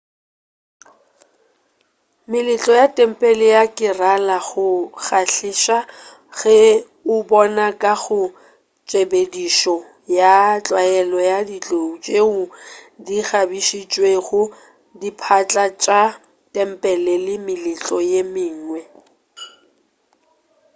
meletlo ya tempele ya kerala go a kgahliša go e bona ka go tshepedišo ya tlwaelo ya ditlou tšeo di kgabišitšwego diphatla tša tempele le meletlo ye mengwe